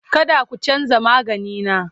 Kada ku canza magani na!